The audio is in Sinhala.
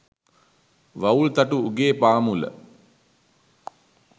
වවුල් තටු උගේ පාමුල